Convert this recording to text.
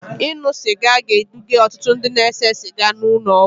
Ịṅụ sịga ga-eduga ọtụtụ ndị na-ese siga n'ụlọ ọgwụ